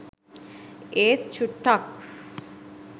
ඒත් චුට්ටක්